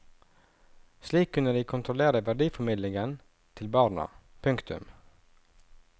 Slik kunne de kontrollere verdiformidlingen til barna. punktum